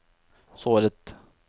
såret